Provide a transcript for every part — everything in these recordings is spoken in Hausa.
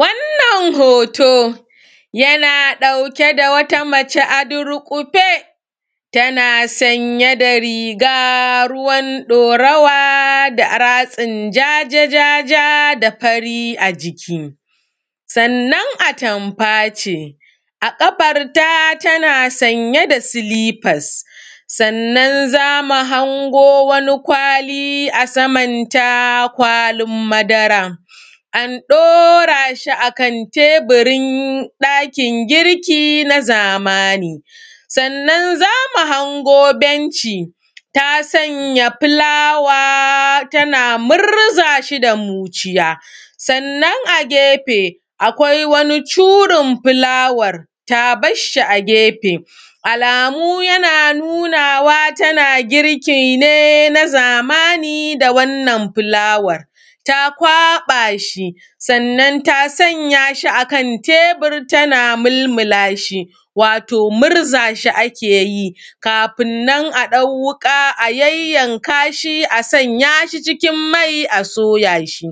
Wannan hoto, yana ɗauke da wata mace a durƙufe, tana sanye da riga ruwan ɗorawa da a; ratsin jaja-jaja da fari a jiki. Sannan atamfa ce, a ƙafarta tana sanye da silifas sannan za mu hango wani kwali a saman ta, kwalin madara, an ɗora shi a kan teburin ɗakin girki na zamani. Sannan za mu hango benci, ta sanya filawa tana murza shi da muciya, sannan a gefe, akwai wani curin filawar, ta bash shi a gefe Alamu yana nunawa, tana girki ne na zamani da wannan filawar ta kwaƃa shi, sannan ta sanya shi a kan tebur tana milmila shi, wato mirza shi ake yi kafin nan a ɗau wuƙa a yayyanka shi a sanya shi cikin mai a soya shi.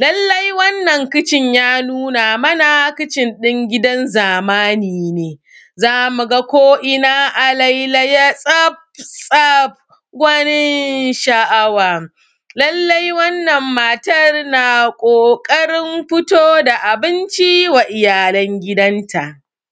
Lallai wannan kicin ya nuna mana kicin ɗin gidan zamani ne, za mu ga ko’ina a lailaye tsaf-tsaf, gwanin sha’awa. Lallai wannan matar na ƙoƙarin fito da abinci wa iyalan gidanta.